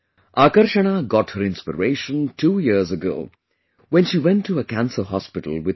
Akarshana got her inspiration two years ago when she went to a cancer hospital with her parents